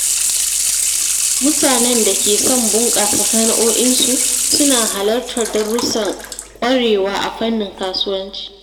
Mutanen da ke son bunƙasa sana'o'insu suna halartar darussan ƙwarewa a fannin kasuwanci.